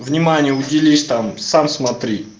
внимание уделяешь там сам смотри